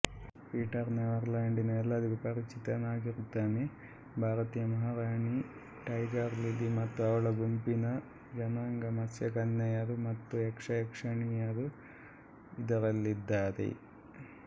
Peter never ಲ್ಯಾಂಡಿನ ಎಲ್ಲರಿಗೂ ಪರಿಚಿತನಾಗಿರುತ್ತಾನೆಭಾರತೀಯ ಮಹಾರಾಣಿ ಟೈಗರ್ ಲಿಲಿ ಮತ್ತು ಅವಳ ಗುಂಪಿನ ಜನಾಂಗಮತ್ಸ್ಯಕನ್ಯೆಯರು ಮತ್ತು ಯಕ್ಷಯಕ್ಷಿಣಿಯರೂ ಇದರಲ್ಲಿದ್ದಾರೆ